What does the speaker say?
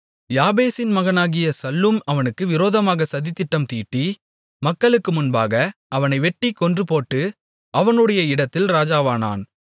யாபேசின் மகனாகிய சல்லூம் அவனுக்கு விரோதமாக சதித்திட்டம் தீட்டி மக்களுக்கு முன்பாக அவனை வெட்டிக் கொன்றுபோட்டு அவனுடைய இடத்தில் ராஜாவானான்